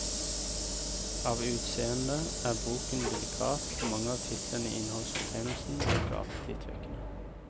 Av utseende er boken delikat, og mange av titlene i innholdsfortegnelsen virker appetittvekkende.